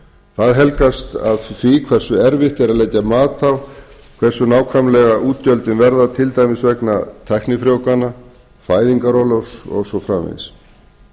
það helgast af því hversu erfitt er að leggja mat á hversu nákvæmlega útgjöldin verða til dæmis vegna tæknifrjóvgana fæðingarorlofs og svo framvegis